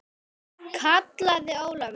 kallaði Ólafur.